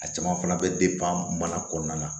A caman fana bɛ mana kɔnɔna na